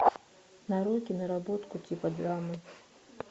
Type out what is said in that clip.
нарой киноработку типа драмы